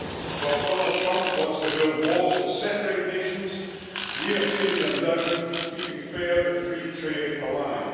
While Donald Trump wants to build walls to separate nations, we are tearing them down, keeping fair and free trade alive.